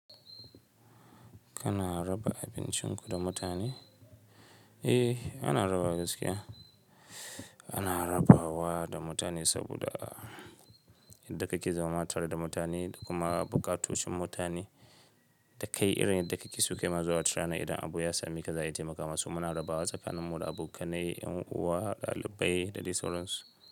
Kana raba abincin ku da mutane? Eh, ana rabawa gaskiya, ana rabawa da mutane saboda, yadda kake zama tare da mutane, da kuma buƙatocin mutane da kai irin yadda kake so kaima azo watarana ace idan abu ya same ka za iya taimaka, so muna rabawa tsakanin mu da abokanai, yan uwa, ɗalibai da dai sauransu.